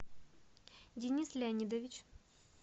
денис леонидович